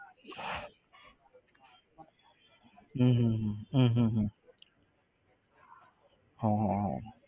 હમ હમ હમ હમ હમ હમ હા હા હા